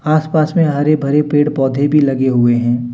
आस पास में हरे भरे पेड़ पौधे भी लगे हुए हैं।